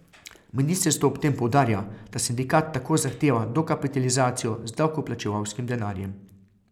Ministrstvo ob tem poudarja, da sindikat tako zahteva dokapitalizacijo z davkoplačevalskim denarjem.